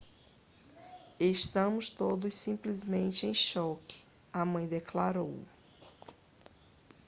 estamos todos simplesmente em choque a mãe declarou